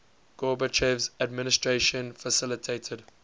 gorbachev's administration facilitated